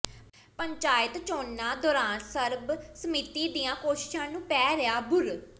ਪੰਚਾਇਤ ਚੋਣਾਂ ਦੌਰਾਨ ਸਰਬਸੰਮਤੀ ਦੀਆਂ ਕੋਸ਼ਿਸ਼ਾਂ ਨੂੰ ਪੈ ਰਿਹਾ ਬੂਰ